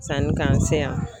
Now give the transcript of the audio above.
Sanni k'an se yan